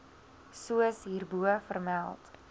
soos hierbo vermeld